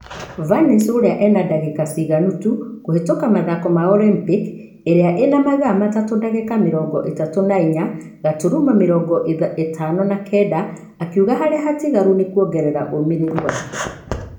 Vance ũria e na dagĩka ciganĩtu kũhĩtũka mathako ma Olympic ,iria nĩ mathaa matatũ dagĩka mirongo ithatũ na inya gaturumo mĩrongo ithano na kenda akiuga harĩa hatigaru nũ kuogerera ũmĩrĩru wake